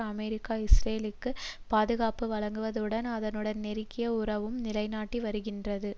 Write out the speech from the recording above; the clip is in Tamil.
அமெரிக்கா இஸ்ரேலுக்கு பாதுகாப்பு வழங்குவதுடன் அதனுடன் நெருங்கிய உறவையும் நிலைநாட்டி வருகின்றது